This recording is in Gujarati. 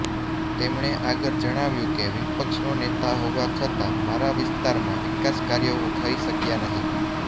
તેમણે આગળ જણાવ્યુ કે વિપક્ષનો નેતા હોવા છતા મારા વિસ્તારમાં વિકાસકાર્યો થઈ શક્યા નહીં